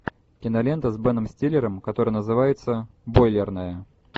кинолента с беном стиллером которая называется бойлерная